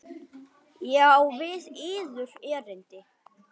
Ég á við yður erindi.